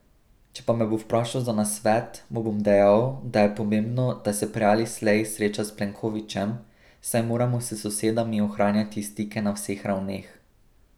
Če pa me bo vprašal za nasvet, mu bom dejal, da je pomembno, da se prej ali slej sreča s Plenkovićem, saj moramo s sosedami ohranjati stike na vseh ravneh.